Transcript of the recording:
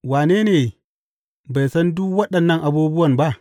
Wane ne bai san duk waɗannan abubuwan ba?